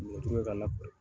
Ɲɔtu kɛ ka lakori.